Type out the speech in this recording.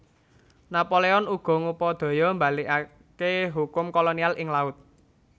Napoleon uga ngupadaya mbalikaké hukum kolonial ing laut